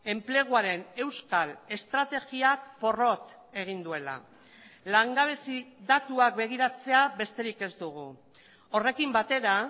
enpleguaren euskal estrategiak porrot egin duela langabezi datuak begiratzea besterik ez dugu horrekin batera